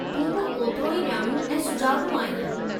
तूं बि ओतिरो ई ॼाणू ऐं सुजाॻु आहीं।